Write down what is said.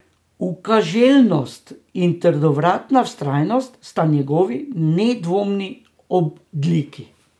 Ukaželjnost in trdovratna vztrajnost sta njegovi nedvomni odliki.